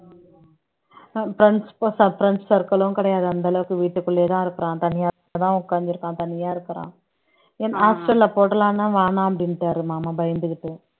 அஹ் friends friends circle உம் கிடையாது அந்த அளவுக்கு வீட்டுக்குள்ளேயேதான் இருக்கிறான் தனியா தான் உட்கார்ந்து இருக்கான் தனியா இருக்கிறான் என் hostel ல போடலாம்ன்னா வேணாம் அப்படின்னுட்டாரு மாமா பயந்துகிட்டு